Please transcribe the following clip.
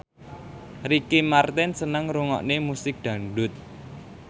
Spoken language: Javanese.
Ricky Martin seneng ngrungokne musik dangdut